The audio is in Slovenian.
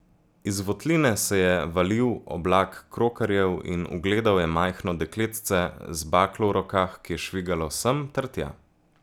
Iz votline se je valil oblak krokarjev in ugledal je majhno dekletce z baklo v rokah, ki je švigalo sem ter tja.